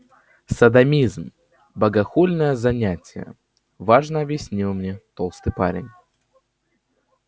содомизм богохульное занятие важно объяснил мне толстый парень